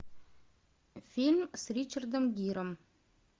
фильм с ричардом гиром